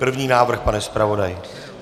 První návrh, pane zpravodaji.